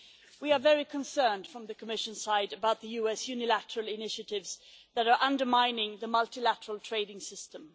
We are very concerned from the Commission side about the US unilateral initiatives that are undermining the multilateral trading system.